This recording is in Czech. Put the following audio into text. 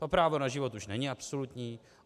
A právo na život už není absolutní.